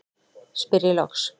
spyr ég loks.